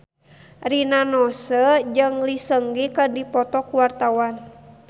Rina Nose jeung Lee Seung Gi keur dipoto ku wartawan